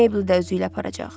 Meyblı da özü ilə aparacaq.